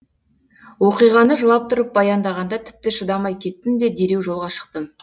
оқиғаны жылап тұрып баяндағанда тіпті шыдамай кеттім де дереу жолға шықтым